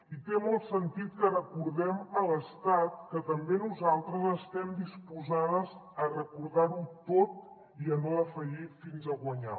i té molt sentit que recordem a l’estat que també nosaltres estem disposades a recordar ho tot i a no defallir fins a guanyar